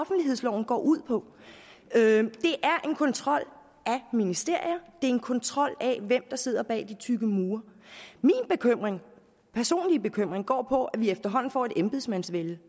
offentlighedsloven går ud på det er en kontrol af ministerier det er en kontrol af dem der sidder bag de tykke mure min personlige bekymring går på at vi efterhånden får et embedsmandsvælde